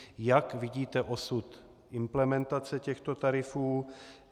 Jak vidíte osud implementace těchto tarifů?